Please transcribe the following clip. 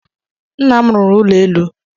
Nna m ruru ụlọ elu